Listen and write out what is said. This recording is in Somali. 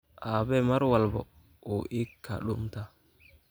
Aabe mar walbo uu iikadumtaa.